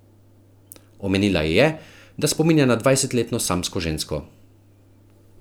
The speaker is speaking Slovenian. Omenila ji je, da spominja na dvajsetletno samsko žensko.